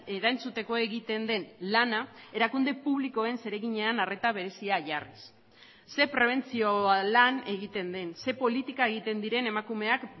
erantzuteko egiten den lana erakunde publikoen zereginean arreta berezia jarriz ze prebentzio lan egiten den ze politika egiten diren emakumeak